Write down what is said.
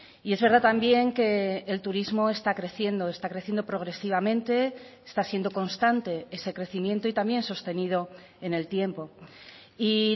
y es verdad también que el turismo está creciendo está creciendo progresivamente está siendo constante ese crecimiento y también sostenido en el tiempo y